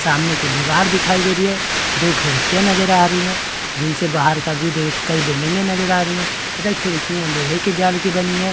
सामने की दीवार दिखाई दे रही है दो खिड़कियाँ नजर आ रही हैं जिनसे बाहर का व्यू देखो तोह कई बिल्डिंगे नजर आ रही हैं तथा खिड़कियाँ लोहे की जाल की बनी हैं।